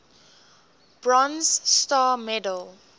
bronze star medal